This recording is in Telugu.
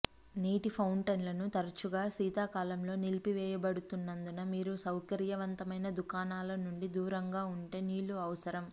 నీటి ఫౌంటైన్లు తరచుగా శీతాకాలంలో నిలిపివేయబడుతున్నందున మీరు సౌకర్యవంతమైన దుకాణాల నుండి దూరంగా ఉంటే నీళ్ళు అవసరం